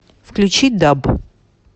включи даб